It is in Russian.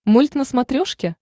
мульт на смотрешке